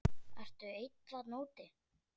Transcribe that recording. Ertu einn þarna úti?